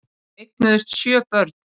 Þau eignuðust sjö börn.